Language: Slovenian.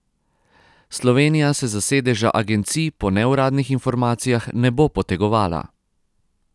Slovenija se za sedeža agencij po neuradnih informacijah ne bo potegovala.